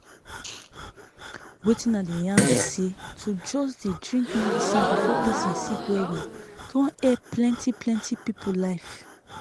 wetin i dey yan bi say to just dey drink medicine before pesin sick well well don help plenti plenti people life